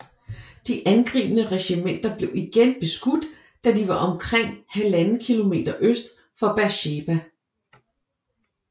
De angribende regimenter blev igen beskudt da de var omkring 1½ km øst for Beersheba